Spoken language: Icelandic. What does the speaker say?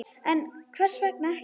En hvers vegna ekki?